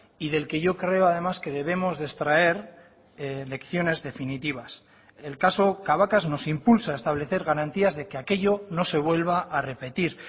y del que yo creo además que debemos de extraer lecciones definitivas el caso cabacas nos impulsa a establecer garantías de que aquello no se vuelva a repetir